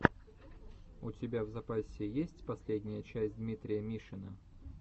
у тебя в запасе есть последняя часть дмитрия мишина